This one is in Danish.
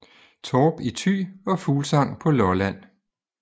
Torp i Thy og Fuglsang på Lolland